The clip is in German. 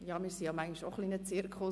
Wir sind ja manchmal auch ein Zirkus.